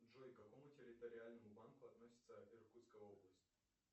джой к какому территориальному банку относится иркутская область